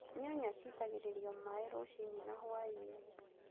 Nyanya ciitagĩrĩrio maaĩ rũcinĩ na hwaĩ-inĩ